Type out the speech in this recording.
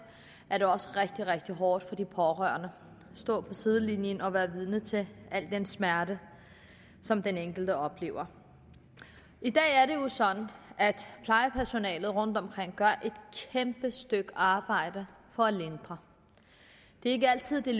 er også rigtig rigtig hårdt for de pårørende at stå på sidelinjen og være vidne til al den smerte som den enkelte oplever i dag er det jo sådan at plejepersonalet rundtomkring gør et kæmpe stykke arbejde for at lindre det er ikke altid det